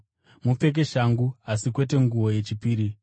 Mupfeke shangu asi kwete nguo yechipiri.